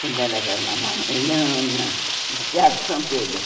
Quando era carnaval, eu ia no na nos teatros de São Pedro.